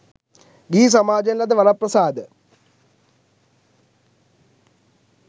ගිහි සමාජයෙන් ලද වරප්‍රසාද